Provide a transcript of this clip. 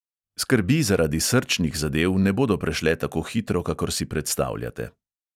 Skrbi zaradi srčnih zadev ne bodo prešle tako hitro, kakor si predstavljate.